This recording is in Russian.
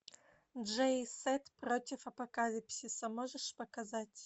джей и сет против апокалипсиса можешь показать